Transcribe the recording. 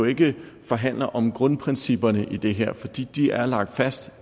ikke kan forhandle om grundprincipperne i det her for de er lagt fast